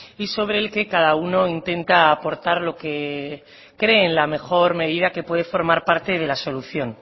y sobre el que cada uno intenta aportar lo que cree en la mejor medida que puede formar parte de la solución